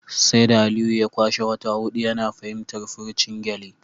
Sai da Aliyu ya kwashe wata hudu yana fahimtar furucin gyale